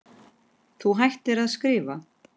Þú hættir að skrifa.